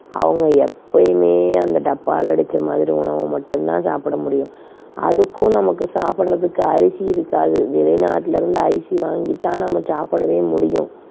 அவங்க எப்பயுமே அந்த டப்பால அடைத்த மாதிரி உணவை மட்டும் தான் சாப்பிட முடியும். அதுக்கும் நமக்குச் சாப்பிடுறதுக்கு அரிசி இருக்காது. வெளிநாட்டிலிருந்து அரிசி வாங்கி தான் நம்ம சாப்பிடவே முடியும்.